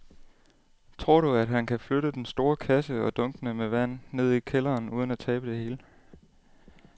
Tror du, at han kan flytte den store kasse og dunkene med vand ned i kælderen uden at tabe det hele?